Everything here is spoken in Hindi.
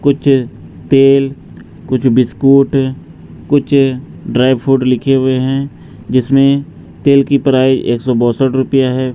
कुछ तेल कुछ बिस्कुट कुछ ड्राई फ्रूट लिखे हुए हैं जिसमें तेल की प्राई एक सौ बासठ रुपया है।